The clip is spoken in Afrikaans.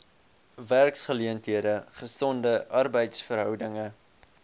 werksgeleenthede gesonde arbeidsverhoudinge